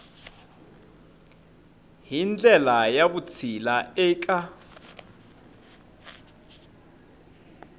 hi ndlela ya vutshila eka